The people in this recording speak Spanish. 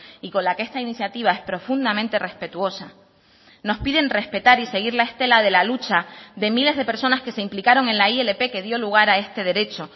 y con la que esta iniciativa es profundamente respetuosa nos piden respetar y seguir la estela de la lucha de miles de personas que se implicaron en la ilp que dio lugar a este derecho